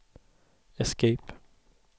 escape